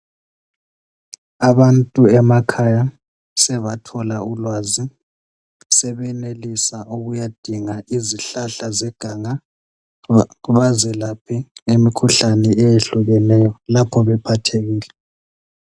Abantu emakhaya sebatjola ulwazi sebenelisa ukuyadinga izihlahla zeganga bazelaphe imikhuhlane eyehlukeneyo lapho bephathekile